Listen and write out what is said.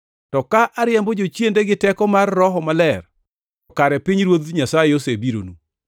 To ka ariembo jochiende gi teko mar Roho Maler to kare pinyruoth Nyasaye osebironu.